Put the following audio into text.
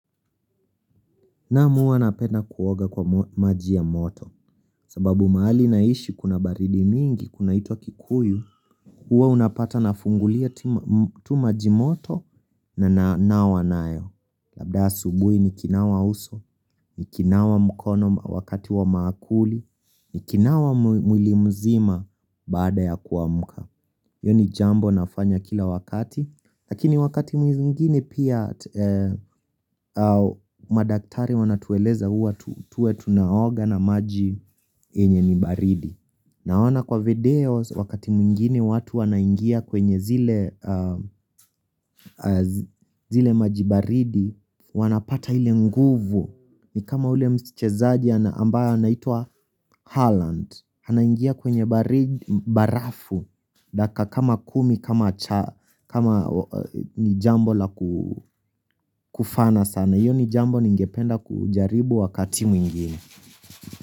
Naam hua napenda kuoga kwa maji ya moto, sababu mahali naishi kuna baridi mingi, kunaitwa kikuyu, hua unapata nafungulia tu maji moto na nawa nayo, labda asubui ni kinawa uso, ni kinawa mkono wakati wa mankuli, ni kinawa mwili mzima baada ya kuamuka. Hio ni jambo nafanya kila wakati Lakini wakati mwingine pia madaktari wanatueleza hua tuwe tunaoga na maji yenye ni baridi Naona kwa videos wakati mwingine watu wanaingia kwenye zile maji baridi Wanapata ile nguvu ni kama ule mchezaji ambayo anaitwa Holland Hanaingia kwenye barafu Daka kama kumi kama cha kama ni jambo la kufana sana hiyo ni jambo ningependa kujaribu wakati mwingine.